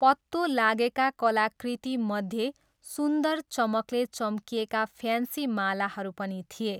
पत्तो लागेका कलाकृतिमध्ये सुन्दर चमकले चम्किएका फ्यान्सी मालाहरू पनि थिए।